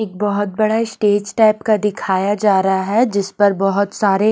एक बहुत बड़ा स्टेज टाइप का दिखाया जा रहा है जिस पर बहुत सारे--